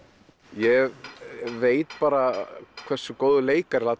ég veit bara hversu góður leikari